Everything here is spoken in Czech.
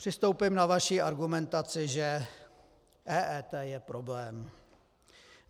Přistoupím na vaši argumentaci, že EET je problém.